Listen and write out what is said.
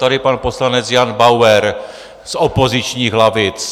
Tady pan poslanec Jan Bauer z opozičních lavic.